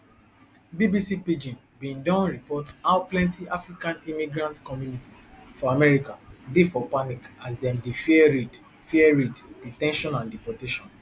bbc pidgin bin donreporthow plenty african immigrant communities for america dey for panic as dem dey fear raid fear raid de ten tion and deportation